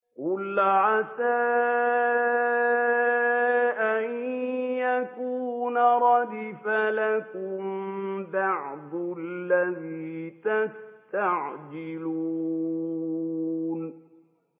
قُلْ عَسَىٰ أَن يَكُونَ رَدِفَ لَكُم بَعْضُ الَّذِي تَسْتَعْجِلُونَ